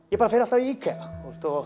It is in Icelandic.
ég bara fer alltaf í IKEA